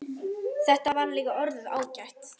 Þetta var líka orðið ágætt.